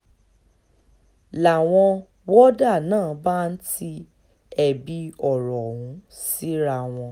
ń láwọn wọ́dà náà bá ń ti ẹ̀bi ọ̀rọ̀ ọ̀hún síra wọn